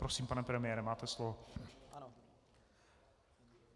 Prosím, pane premiére, máte slovo.